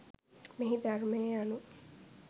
මෙහි ධර්මය යනු